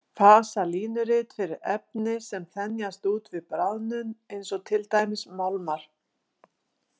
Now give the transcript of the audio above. Fasalínurit fyrir efni sem þenjast út við bráðnun, eins og til dæmis málmar.